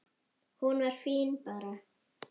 Hún var fín bara.